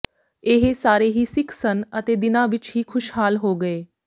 ਇਹ ਸਾਰੇ ਹੀ ਸਿੱਖ ਸਨ ਅਤੇ ਦਿਨਾਂ ਵਿੱਚ ਹੀ ਖੁਸ਼ਹਾਲ ਹੋ ਗਏ